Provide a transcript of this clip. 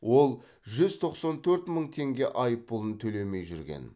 ол жүз тоқсан төрт мың теңге айыппұлын төлемей жүрген